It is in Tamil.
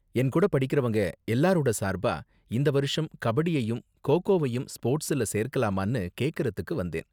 என் கூட படிக்கறவங்க எல்லாரோட சார்பா, இந்த வருஷம் கபடியையும் கோகோவையும் ஸ்போர்ட்ஸ்ல சேர்க்கலாமானு கேக்கறதுக்கு வந்தேன்.